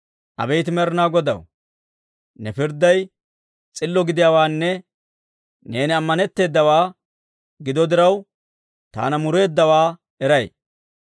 Abeet Med'inaa Godaw, ne pirdday s'illa gidiyaawaanne neeni amaneteedawaa gido diraw taana mureeddawaa eray.